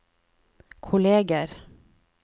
kolleger